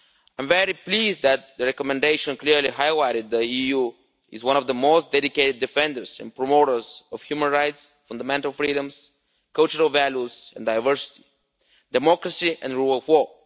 I am very pleased that the recommendation clearly highlighted the EU as one of the most dedicated defenders and promoters of human rights, fundamental freedoms, cultural values, diversity, democracy and the rule of law.